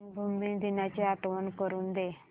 रंगभूमी दिनाची आठवण करून दे